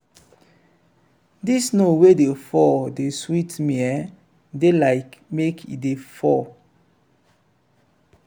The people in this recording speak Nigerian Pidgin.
dis snow wey dey fall dey sweet me eh dey like make e dey fall.